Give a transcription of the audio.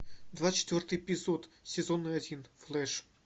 двадцать четвертый эпизод сезон один флэш